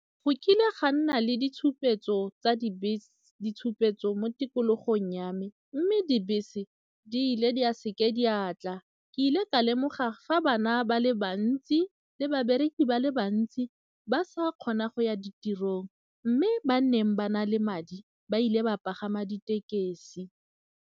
Go kile ga nna le ditshupetso tsa dibese, ditshupetso mo tikologong ya me mme dibese di ile di seke diatla, ke ile ka lemoga fa bana ba le bantsi le babereki ba le bantsi ba sa kgona go ya ditirong mme ba neng ba na le madi ba ile ba pagama ditekesi.